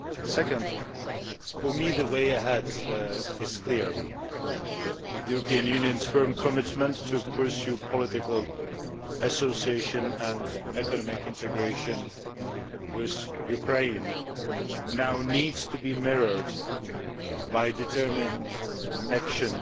Second, for me the way ahead is clear the European Union's firm commitment to pursuing political association and economic integration with Ukraine now needs to be mirrored by determined action